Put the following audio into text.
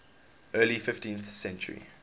early fifteenth century